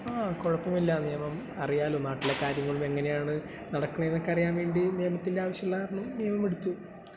ങാ...കുഴപ്പമില്ലാ നിയമം...അറിയാല്ലോ, നാട്ടിലെ കാര്യങ്ങളും എങ്ങനെയാണു നടക്കണെന്നുമൊക്കെ അറിയാൻ വേണ്ടി നിയമത്തിന്റെ ആവശ്യമുള്ള കാരണം നിയമം എടുത്തു..